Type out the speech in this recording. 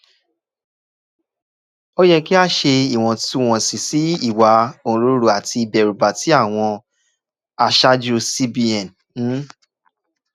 ó yẹ kí a ṣe ìwọ̀ntúnwọ̀nsì sí ìwà òǹrorò àti ìbẹ̀rùba tí àwọn aṣáájú cbn ń